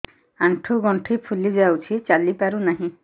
ଆଂଠୁ ଗଂଠି ଫୁଲି ଯାଉଛି ଚାଲି ପାରୁ ନାହିଁ